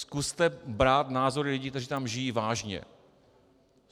Zkuste brát názor lidí, kteří tam žijí, vážně.